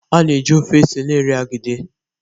A na-eji ofe ose na-eri agidi